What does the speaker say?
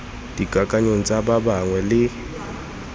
dikakanyong tsa ba bangwe le